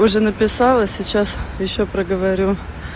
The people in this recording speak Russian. уже написала сейчас ещё проговорю